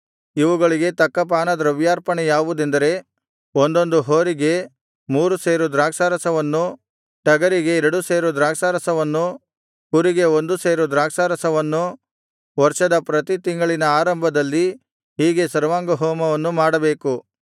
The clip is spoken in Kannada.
ಇವುಗಳಿಗೆ ತಕ್ಕ ಪಾನದ್ರವ್ಯಾರ್ಪಣೆ ಯಾವುದೆಂದರೆ ಒಂದೊಂದು ಹೋರಿಗೆ ಮೂರು ಸೇರು ದ್ರಾಕ್ಷಾರಸವನ್ನು ಟಗರಿಗೆ ಎರಡು ಸೇರು ದ್ರಾಕ್ಷಾರಸವನ್ನು ಕುರಿಗೆ ಒಂದುವರೆ ಸೇರು ದ್ರಾಕ್ಷಾರಸವನ್ನು ವರ್ಷದ ಪ್ರತಿ ತಿಂಗಳಿನ ಆರಂಭದಲ್ಲಿ ಹೀಗೆ ಸರ್ವಾಂಗಹೋಮವನ್ನು ಮಾಡಬೇಕು